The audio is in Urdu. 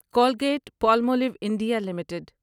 Colgate Palmolive India limited